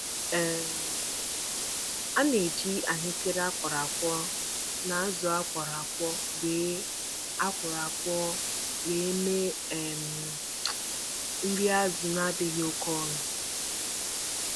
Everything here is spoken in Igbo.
Ana-agwakọta ihe ndị anyị nwere dịka achicha groundnut na akụkụ azụ iji nweta nri azụ nadịghị oké ọnụ. ọnụ.